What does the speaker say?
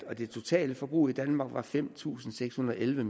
og det totale forbrug i danmark var fem tusind seks hundrede og elleve